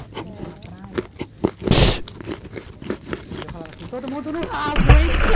A gente ia na praia e eu falava assim, todo mundo no raso, hein?